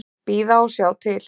Bíða og sjá til.